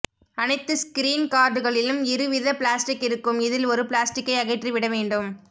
அனைத்து ஸ்கிரீன் கார்டுகளிலும் இரு வித ப்ளாஸ்டிக் இருக்கும் இதில் ஒரு ப்ளாஸ்டிக்கை அகற்றி விட வேண்டும்